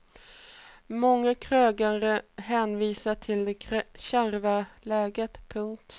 Många krögare hänvisar till det kärva läget. punkt